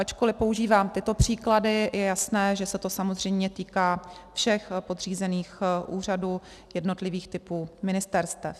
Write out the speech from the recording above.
Ačkoliv používám tyto příklady, je jasné, že se to samozřejmě týká všech podřízených úřadů jednotlivých typů ministerstev.